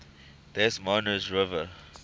des moines river